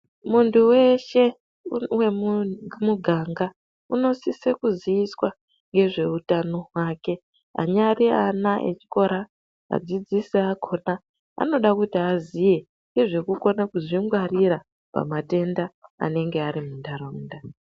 Muntu weshe wemuganga unosise kuziiswa ngezveutano hwake anyari ana echikora neadzidzisi akona anode kuti aziye ngezvekukona kuzvingwarira pamatenda anenge ari muntaraunda.